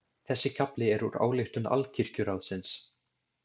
Þessi kafli er úr ályktun Alkirkjuráðsins.